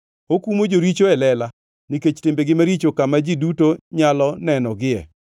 Okumo joricho e lela nikech timbegi maricho kama ji duto nyalo nenogie,